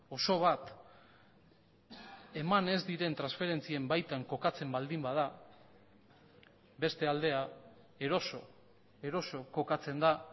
oso bat eman ez diren transferentzien baitan kokatzen baldin bada beste aldea eroso eroso kokatzen da